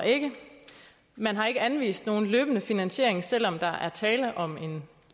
man har ikke anvist nogen løbende finansiering selv om der er tale om en